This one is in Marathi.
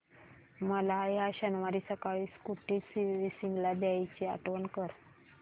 मला या शनिवारी सकाळी स्कूटी सर्व्हिसिंगला द्यायची आठवण कर